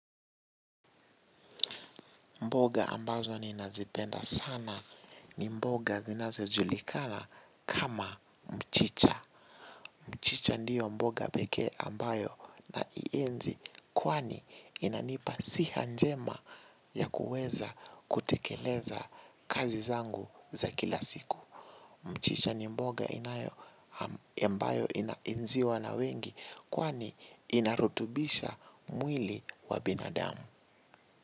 Mboga ambazo ninazipenda sana ni mboga zinazo julikana kama mchicha. Mchicha ndio mboga pekee ambayo na ienzi kwani inanipa siha njema ya kuweza kutekeleza kazi zangu za kila siku. Mchicha ni mboga inayo ambayo inaenziwa na wengi kwani inarutubisha mwili wa binadamu.